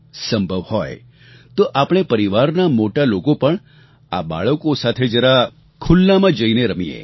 સંભવ હોય તો આપણે પરિવારનાં મોટા લોકો પણ આ બાળકો સાથે જરા ખુલ્લામાં જઈને રમીએ